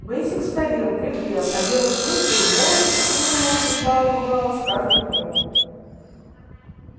бэсик старел дряхлел а белый клык был молод и сил у него прибывало с каждым днём